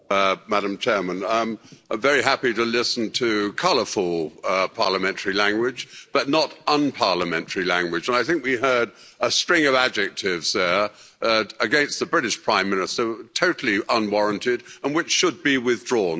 Madam President, I'm very happy to listen to colourful parliamentary language but not unparliamentary language, and I think we heard a string of adjectives there against the British Prime Minister totally unwarranted and which should be withdrawn.